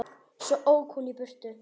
Svo ók hún í burtu.